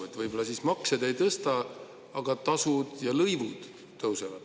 Et võib-olla siis makse te ei tõsta, aga tasud ja lõivud tõusevad.